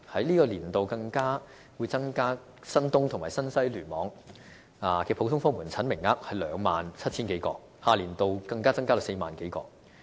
在本年度更會增加新界東及新界西聯網的普通科門診名額至 27,000 多個，下年度再增加至 40,000 多個。